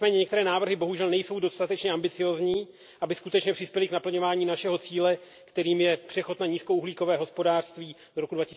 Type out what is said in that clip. Nicméně, některé návrhy bohužel nejsou dostatečně ambiciózní, aby skutečně přispěly k naplňování našeho cíle, kterým je přechod na nízkouhlíkové hospodářství do roku